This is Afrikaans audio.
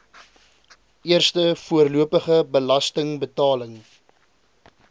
eerste voorlopige belastingbetaling